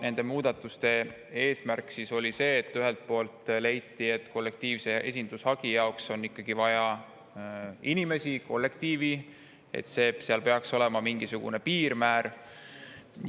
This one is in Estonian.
Nende muudatuste oli see, et leiti, et kollektiivse esindushagi on vaja inimesi, kollektiivi ja seetõttu peaks olema mingisugune piirmäär.